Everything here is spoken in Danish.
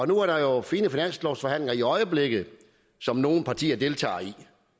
nu er der jo fine finanslovsforhandlinger i øjeblikket som nogle partier deltager i